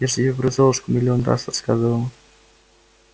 я ж тебе про золушку миллион раз рассказывала